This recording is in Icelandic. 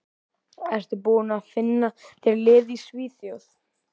Ertu búinn að finna þér lið í Svíþjóð?